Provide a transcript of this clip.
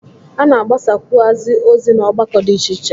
A na-agbasakwụazị ozi n'ọgbakọ dị iche iche.